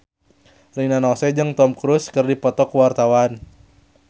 Rina Nose jeung Tom Cruise keur dipoto ku wartawan